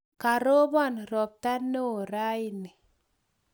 Karopon ropta neo raini